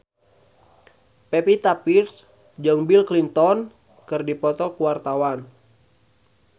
Pevita Pearce jeung Bill Clinton keur dipoto ku wartawan